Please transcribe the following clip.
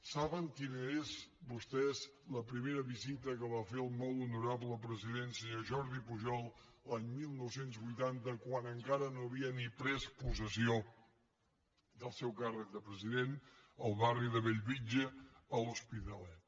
saben quina és vostès la primera visita que va fer el molt honorable president senyor jordi pujol l’any dinou vuitanta quan encara no havia ni pres possessió del seu càrrec de president al barri de bellvitge a l’hospitalet